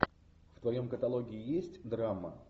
в твоем каталоге есть драма